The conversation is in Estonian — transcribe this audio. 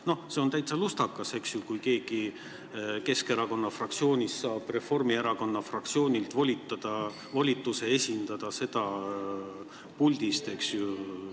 No see oleks täitsa lustakas, eks ju, kui keegi Keskerakonna fraktsioonist saaks Reformierakonna fraktsioonilt volituse esindada neid puldis.